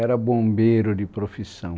Era bombeiro de profissão.